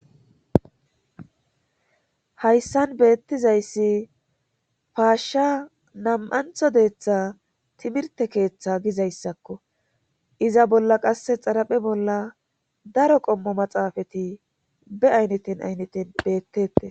hayssan beettizayssi faashsha nam7antho deeththa timirte keeththa gizayssakko iza bolla qasse xaraphe bolla daro qommo maxaafeti be ayneten aynneten beettette